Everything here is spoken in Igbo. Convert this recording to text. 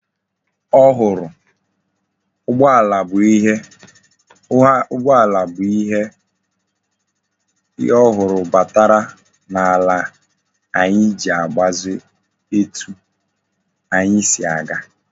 Ụgbọala bụ ihe ọhụrụ batara na ala anyi iji gbazie etu anyi si aga